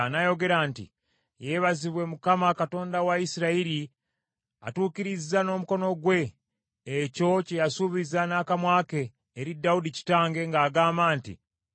N’ayogera nti, “Yeebazibwe Mukama Katonda wa Isirayiri, atuukiriza n’omukono gwe ekyo kye yasuubiza n’akamwa ke eri Dawudi kitange, ng’agamba nti,